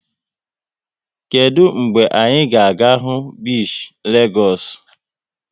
Kedụ mgbe anyị ga-aga hụ bishi Legoosu?